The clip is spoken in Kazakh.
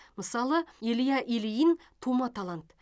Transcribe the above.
мысалы илья ильин тума талант